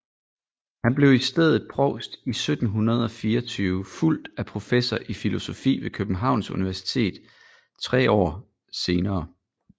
Han blev i stedet provst i 1724 fulgt af professor i filosofi ved Københavns Universitet tre år senere